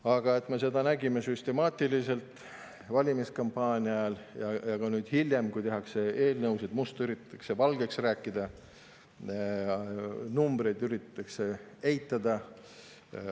Aga me nägime süstemaatiliselt valimiskampaania ajal ja ka nüüd hiljem seda, kuidas eelnõusid tehes üritatakse musta valgeks rääkida ja numbreid eitada.